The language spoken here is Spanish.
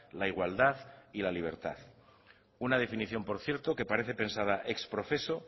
la igualdad y la libertad una definición por cierto que parece pensada ex profeso